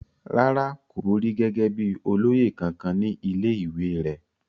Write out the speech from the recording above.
rárá, kò borí gẹ́gẹ́ bíi olóyè kankan ní ilé ìwé rẹ̀